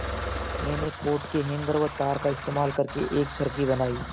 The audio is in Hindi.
मैंने कोट के हैंगर व तार का इस्तेमाल करके एक चरखी बनाई